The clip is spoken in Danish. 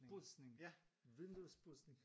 Pudsning! Vinduespudsning